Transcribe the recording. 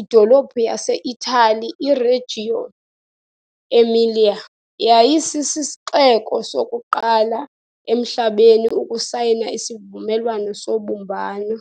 idolophu yase-Italy iRegio Emilia yayisisixeko sokuqala emhlabeni ukusayina isivumelwano sobumbano.